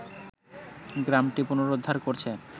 গ্রামটি পুনরুদ্ধার করেছে